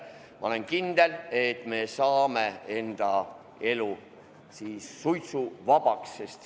Ma olen kindel, et me saame enda elu suitsuvabaks.